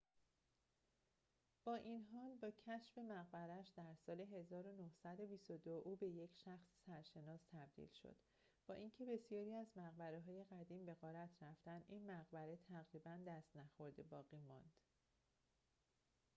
با این حال با کشف مقبره‌اش در سال ۱۹۲۲ او به یک شخص سرشناس تبدیل شد با اینکه بسیاری از مقبره‌های قدیم به غارت رفتند این مقبره تقریباً دست‌نخورده باقی ماند